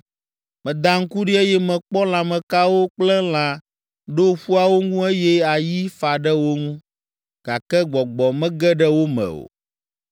Meda ŋku ɖi, eye mekpɔ lãmekawo kple lã ɖo ƒuawo ŋu eye ayi fa ɖe wo ŋu, gake gbɔgbɔ mege ɖe wo me o.